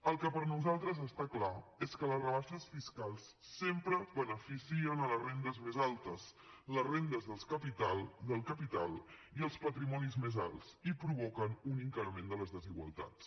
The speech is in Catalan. el que per nosaltres està clar és que les rebaixes fiscals sempre beneficien les rendes més altes les rendes del capital i els patrimonis més alts i provoquen un increment de les desigualtats